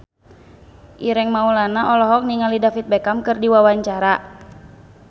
Ireng Maulana olohok ningali David Beckham keur diwawancara